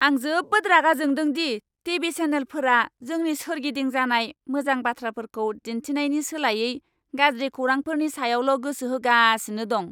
आं जोबोद रागा जोंदों दि टि.भि. चेनेलफोरा जोंनि सोरगिदिं जानाय मोजां बाथ्राफोरखौ दिन्थिनायनि सोलायै गाज्रि खौरांफोरनि सायावल' गोसो होगासिनो दं।